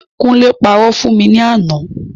Kúnlé parọ́ fún mi ní àná.